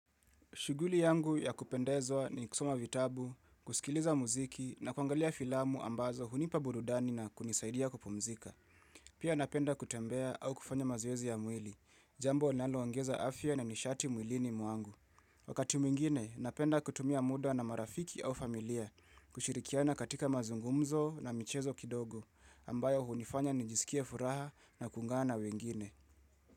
Shughuli yangu ya kupendezwa ni kusoma vitabu, kusikiliza muziki na kwangalia filamu ambazo hunipa burudani na kunisaidia kupumzika. Pia napenda kutembea au kufanya mazoezi ya mwili, jambo linaloongeza afya na nishati mwilini mwangu. Wakati mwingine, napenda kutumia muda na marafiki au familia kushirikiana katika mazungumzo na michezo kidogo ambayo hunifanya nijisikie furaha na kuungana na wengine.